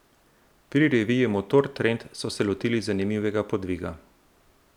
Pri reviji Motor Trend so se lotili zanimivega podviga.